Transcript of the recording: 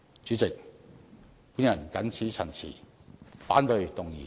主席，我謹此陳辭，反對議案。